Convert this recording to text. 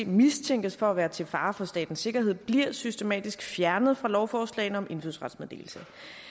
mistænkes for at være til fare for statens sikkerhed bliver systematisk fjernet fra lovforslagene om indfødsrets meddelelse